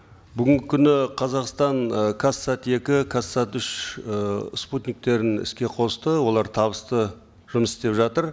бүгінгі күні қазақстан ы казсат екі казсат үш э спутниктерін іске қосты олар табысты жұмыс істеп жатыр